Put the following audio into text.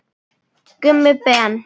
Gummi Ben.